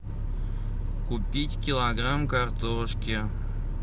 купить килограмм картошки